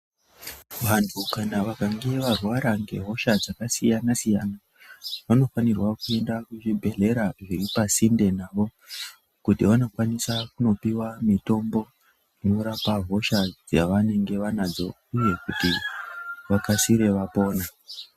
Vanhu kana vakange varwara ngehosha dzakasiyana siyana vanofanirwa kuenda kuzvibhedhlera zviri pasinde navo kuti vanokwanisa kunopiwa mitombo inorapa hosha dzavanenge vanadzo uye kuti vakasire vapone.